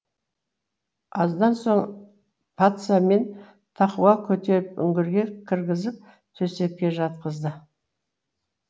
аздан соң патса мен тақуа көтеріп үңгірге кіргізіп төсекке жатқызды